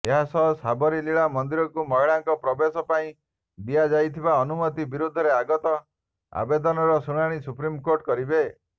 ଏହାସହ ସାବରୀମାଲା ମନ୍ଦିରକୁ ମହିଳାଙ୍କ ପ୍ରବେଶ ପାଇଁ ଦିଆଯାଇଥିବା ଅନୁମତି ବିରୋଧରେ ଆଗତ ଆବେଦନର ଶୁଣାଣି ସୁପ୍ରିମକୋର୍ଟ କରିବେ